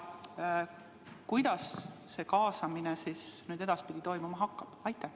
Kuidas see kaasamine edaspidi toimuma hakkab?